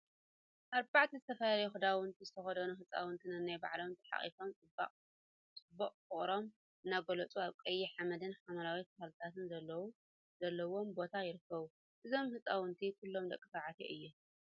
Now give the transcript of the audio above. አርባዕተ ዝተፈላለየ ክዳውንቲ ዝተከደኑ ህፃውንቲ ነንባዕሎም ተሓቋቍፎም ፅቡቀ ፍቅሮም እናገለፁ አብ ቀይሕ ሓመድን ሓምለዎት ተክሊታት ዘለውዎ ቦታን ይርከቡ፡፡ እዞም ህፃውንቲ ኩሎም ደቂ ተባዕትዮ እዮም፡፡